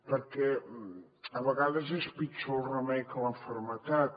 perquè a vegades és pitjor el remei que la malaltia